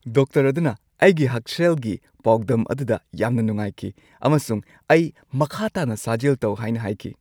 Doctor ꯑꯗꯨꯅ ꯑꯩꯒꯤ ꯍꯛꯁꯦꯜꯒꯤ ꯄꯥꯎꯗꯝ ꯑꯗꯨꯗ ꯌꯥꯝꯅ ꯅꯨꯡꯉꯥꯏꯈꯤ ꯑꯃꯁꯨꯡ ꯑꯩ ꯃꯈꯥ ꯇꯥꯅ ꯁꯥꯖꯦꯜ ꯇꯧ ꯍꯥꯏꯅ ꯍꯥꯏꯈꯤ꯫